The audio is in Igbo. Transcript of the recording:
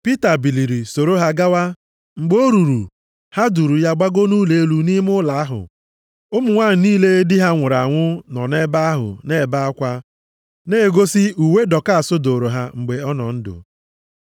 Pita biliri soro ha gawa, mgbe o ruru, ha duuru ya gbago nʼụlọ elu nʼime ụlọ ahụ. Ụmụ nwanyị niile di ha nwụrụ anwụ nọ nʼebe ahụ na-ebe akwa, na-egosi uwe Dọkas dụụrụ ha mgbe ọ dị ndụ.